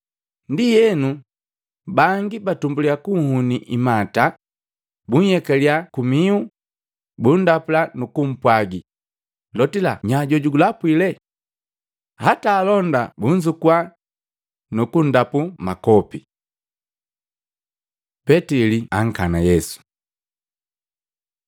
Ndienu, bangi batumbulya kunhuni imata, bunhyekaliya kumihu, bundapula nukupwagi, “Lotila, nya jojugulapwile!” Hataa alonda bunzukua, nukundapu makopi. Petili ankana Yesu Matei 26:69-75; Luka 22:56-62; Yohana 18:15-18, 25-27